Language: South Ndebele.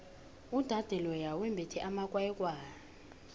udade loya wembethe amakwayikwayi